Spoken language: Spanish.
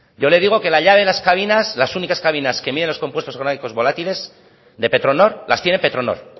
yo le digo que la llave de las cabinas las únicas cabinas que miden los compuestos orgánicos volátiles de petronor las tiene petronor